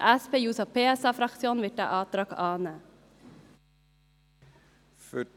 Die SP-JUSO-PSA-Fraktion wird diesen Antrag annehmen.